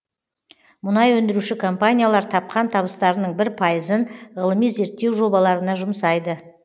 мұнай өндіруші компаниялар тапқан табыстарының бір пайызын ғылыми зерттеу жобаларына жұмсайды